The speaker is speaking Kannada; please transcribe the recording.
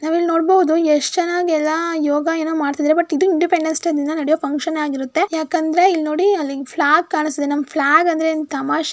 ನಾವ್ ಇಲ್ಲಿ ನೋಡಬಹುದು ಎಷ್ಟು ಚನ್ನಾಗಿ ಎಲ್ಲಾ ಯೋಗ ಏನೋ ಮಾಡತ್ತಿದ್ದರೆ ಬಟ್ ಇಂಡಿಪೆಂಡೆನ್ಸ್ ಡೇ ದಿನ ನಡೆಯುವ ಫಂಕ್ಷನ್ ಆಗಿರುತ್ತೆ ಯಾಕಂದ್ರೆ ಇಲ್ಲಿ ನೋಡಿ ಫ್ಲಾಗ್ ಕಾಣಸ್ತಾ ಇದೆ ನಮ್ಮ ಫ್ಲಾಗ್ ಅಂದ್ರೆ ಏನು ತಮಾಷೆನಾ.